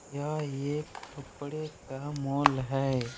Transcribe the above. यह एक कपड़े का मॉल है।